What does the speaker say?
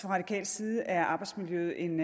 radikal side er arbejdsmiljøet en